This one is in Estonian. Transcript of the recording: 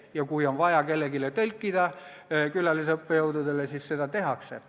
Kui midagi on vaja kellelegi tõlkida, külalisõppejõududele, siis seda tehakse.